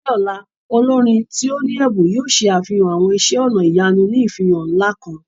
Ní ọ̀la, olorin ti o ni ẹbun yoo ṣe àfihàn awọn iṣẹ ọnà ìyanu ní ìfihàn ńlá kan.